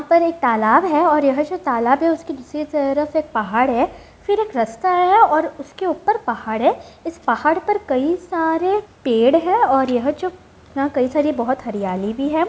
यहाँ पर एक तालाब है और यह जो तालाब है उसके दूसरी तरफ एक पहाड़ है फिर एक रास्ता है और उसके ऊपर पहाड़ है इस पहाड़ पर कई सारे पेड़ है और यह जो यहाँ कई सारी बोहोत हरियाली भी है।